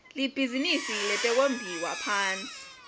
libhizinisi letekumbiwa phonsi